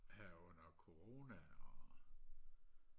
her under corona og